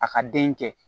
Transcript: A ka den kɛ